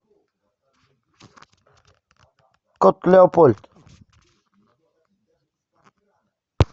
кот леопольд